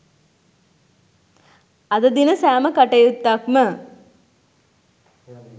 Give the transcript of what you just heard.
අද දින සෑම කටයුත්තක්ම